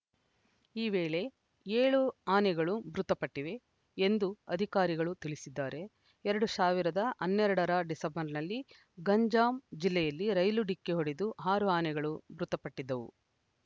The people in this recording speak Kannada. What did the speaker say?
ಈ ವೇಳೆ ಏಳು ಆನೆಗಳು ಮೃತಪಟ್ಟಿವೆ ಎಂದು ಅಧಿಕಾರಿಗಳು ತಿಳಿಸಿದ್ದಾರೆ ಎರಡು ಸಾವಿರದ ಹನ್ನೆರಡರ ಡಿಸೆಂಬರ್‌ನಲ್ಲಿ ಗಂಜಾಂ ಜಿಲ್ಲೆಯಲ್ಲಿ ರೈಲು ಡಿಕ್ಕಿ ಹೊಡೆದು ಆರು ಆನೆಗಳು ಮೃತಪಟ್ಟಿದ್ದವು